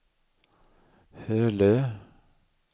Hölö